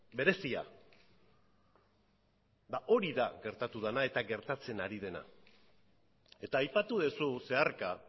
berezia ba hori da gertatu dena eta gertatzen ari dena eta aipatu duzu zeharka